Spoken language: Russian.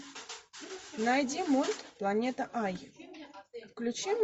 найди мульт планета ай включи